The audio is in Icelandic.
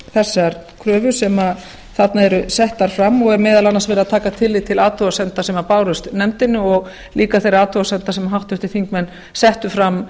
þessar kröfur sem þarna eru settar fram og er meðal annars verið að taka tillit til athugasemda sem bárust nefndinni og líka þeirra athugasemda sem háttvirtir þingmenn settu fram